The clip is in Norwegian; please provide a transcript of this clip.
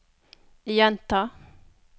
gjenta